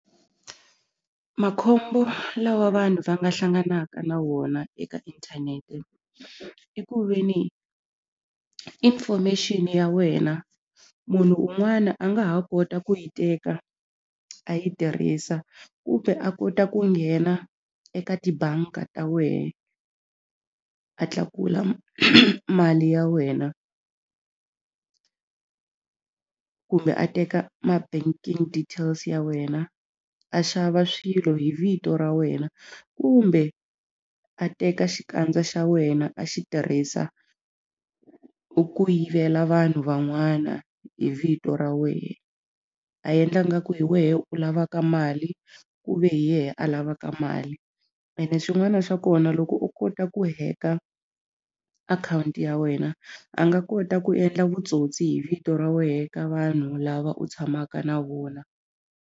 Makhombo lawa vanhu va nga hlanganaka na wona eka inthanete i ku ve ni information ya wena munhu un'wana a nga ha kota ku yi teka a yi tirhisa kumbe a kota ku nghena eka tibanga ta wehe a tlakula mali ya wena kumbe a teka ma banking details ya wena a xava swilo hi vito ra wena kumbe a teka xikandza xa wena a xi tirhisa ku yivela vanhu van'wana hi vito ra wehe a yendla ngaku hi wehe u lavaka mali ku ve hi yehe a lavaka mali ene xin'wana xa kona loko o kota ku hack-a akhawunti ya wena a nga kota ku endla vutsotsi hi vito ra wehe ka vanhu lava u tshamaka na vona.